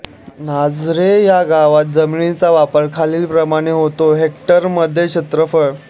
नाझरे ह्या गावात जमिनीचा वापर खालीलप्रमाणे होतो हेक्टरमध्ये क्षेत्रफळ